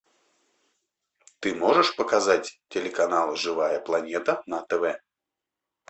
ты можешь показать телеканал живая планета на тв